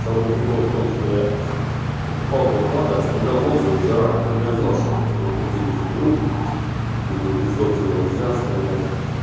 самый прикол в том что я покупал два клады оставлял отзывы заранее но я знал что просто в этот день я заберу думаю без отзывов нельзя оставлять